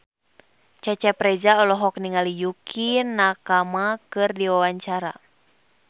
Cecep Reza olohok ningali Yukie Nakama keur diwawancara